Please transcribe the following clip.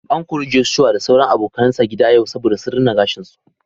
An kori Joshua da sauran abokanan sa gida yau saboda sun rina gashin su.